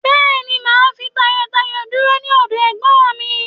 Bẹ́ẹ̀ ni, mà á fi tayọtayọ dúró sí ọdọ ẹ̀gbọ́n mi.